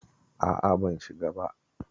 A'a ban shiga ba.